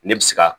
Ne bɛ se ka